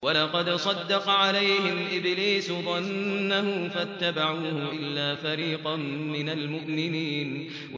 وَلَقَدْ صَدَّقَ عَلَيْهِمْ إِبْلِيسُ ظَنَّهُ فَاتَّبَعُوهُ إِلَّا فَرِيقًا مِّنَ الْمُؤْمِنِينَ